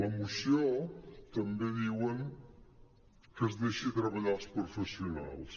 a la moció també diuen que es deixi treballar els professionals